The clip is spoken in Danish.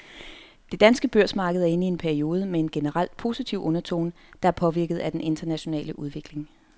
Det danske børsmarked er inde i en periode med en generelt positiv undertone, der er påvirket af den internationale udvikling.